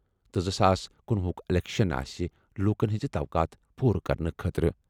تہٕ زٕ ساس کنُۄہُ ہُک اِلیکشَن آسہِ لوٗکَن ہٕنٛز توقعات پوٗرٕ کرنہٕ خٲطرٕ۔